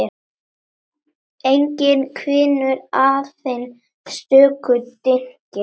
Enginn hvinur, aðeins stöku dynkir.